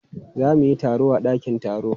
Za mu yi taro a dakin taro.